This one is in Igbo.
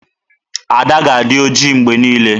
Ada ga-adị ojii mgbe niile.